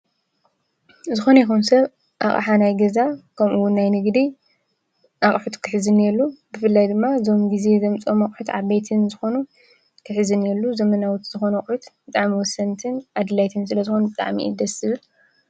ዝኮነ ይኩን ሰብ ኣቅሓ ናይ ገዛ ከምኡ እውን ናይ ንግዲ አቅሑት ክሕዝ እንሂሉ ብፍላይ ድማ እዞም ግዜ ዘምፀኦም ዝኮኑ ኣቁሑት ዐበይተን ዝኮኑ ክሕዝ ብፍላይ ዘመናዊ ዝኮኑ ኣቁሑ ብጣዕሚ ወሰንትን ስለዝኮኑ ኣድለይትን ስለዝኮኑ ብጣዕሚ እዩ ደስ ዝበል።